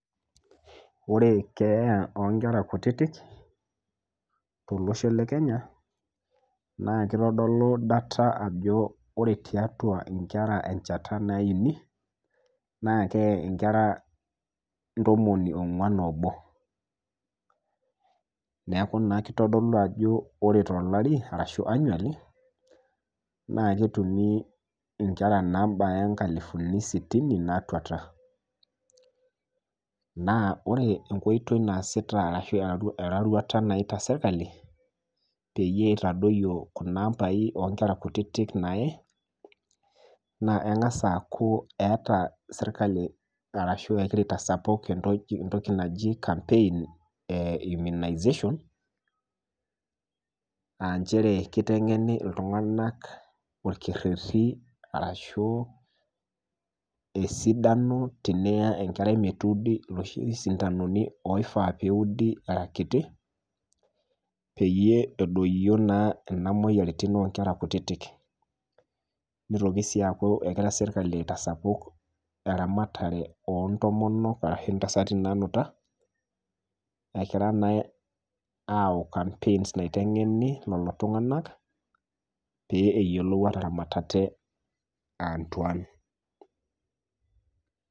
Ore keeya oonkera kutitik tolosho le Kenya naakeitodolu data ajo ore tiatua inkera encheta naaini, naakeye inkera ntomoni ong'uan oobo. Neaku naakeitodolu ajo ore tolari arashu  annually naake etumi inkera naabaya inkalifuni sitini naatuata. Naa ore enkoitoi naasita arashu eroruata naaita serkali peyie eitadoyio kunaambai oonkera kutitik naaye, naa eng'as aaku eeta serkali arashu egira aitasapuk entoki naji  campaign e immunization [aa] nchere keiteng'eni iltung'ana olkerreti arashu esidano tiniya enkerai metuudi loshi sindaanuni oifaa peeudi aakiti peyie edoyio naa nena muoyaritin onkera kutitik. Neitoki sii aaku egira serkali aitasapuk eramatare oontomonok arashu intasati naanuta egira naa aau campaigns naiteng'eni lolotung'anak pee eyiolou aataramat ate aantuan.